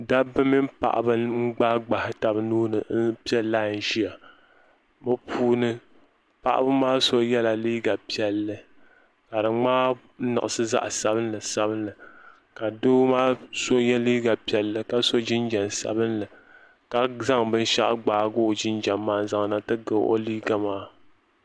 Dabba mini paɣaba n gbahigbahi taba nuuni m piɛ lai ʒia bɛ puuni paɣaba maa so yela liiga piɛlli ka di ŋmaa niɣisi zaɣa sabinli ka doo maa so ye liiga piɛlli ka so jinjiɛm sabinli ka zaŋ binshaɣu gbaagi o jinjiɛm maa n zaŋ ti ga o liiga maa.